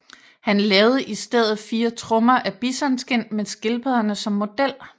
Han lavede i stedet fire trommer af bisonskind med skildpadderne som model